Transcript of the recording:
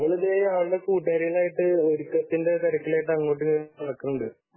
അവൾ ഇതേ അവളുടെ കൂട്ടുകാരികളായിട്ട് ഒരുക്കത്തിന്റെ തിരക്കിൽ ആയിട്ട് അങ്ങോട്ടും ഇങ്ങോട്ടും നടക്കുന്നുണ്ട്